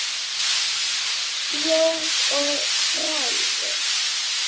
Þjóð og fræði